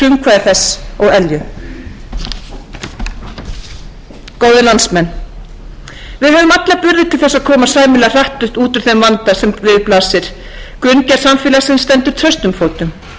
frumkvæði þess og elju góðir landsmenn við höfum alla burði til þess að komast sæmilega hratt út úr þeim vanda sem við blasir grunngerð samfélagsins stendur traustum fótum en á sama tíma verðum